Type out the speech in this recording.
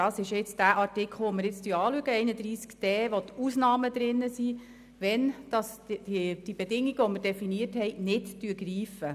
Der eben diskutierte Artikel beschreibt die Ausnahmen für den Fall, dass die definierten Bedingungen nicht greifen.